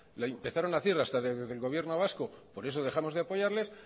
la empezaron hacer hasta desde del gobierno vasco por eso dejamos de apoyarles